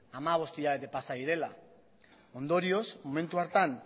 hamabost hilabete pasa direla ondorioz momentu hartan